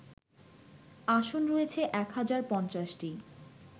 আসন রয়েছে এক হাজার ৫০টি